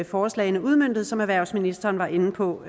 forslagene udmøntet som erhvervsministeren var inde på